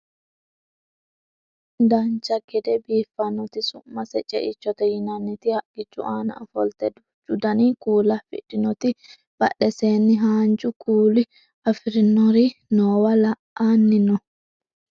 dancha gede biiffannoti su'mase ceichote yinaniti haqqichu aana ofolte duuchu dani kuula afidhinoti badheseenni haanja kuula afirinori noowa la'anni no